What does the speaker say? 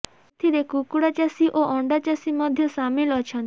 ଏଥିରେ କୁକୁଡ଼ା ଚାଷୀ ଓ ଅଣ୍ଡା ଚାଷୀ ମଧ୍ୟ ସାମିଲ୍ ଅଛନ୍ତି